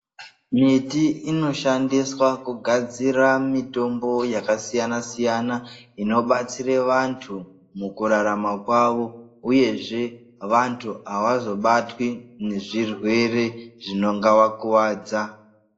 Miti inoshandiswa kugadzira mitombo yakasiyana-siyana inobatsire vantu mukurarama kwavo uyezve vantu havazobatwi nezvirwere zvingavakuvadza.